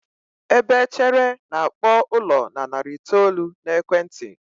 ebe echere na-akpọ ụlọ na narị itoolu na ekwenti.